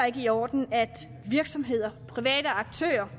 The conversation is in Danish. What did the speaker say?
ikke i orden at virksomheder private aktører